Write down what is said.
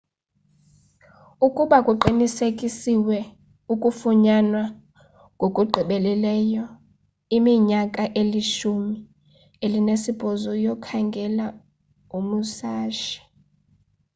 ukuba kuqinisekisiwe ukufunyanwa ngokugqibeleyo iminyaka elishumi elinesibhozo yokukhangela umusashi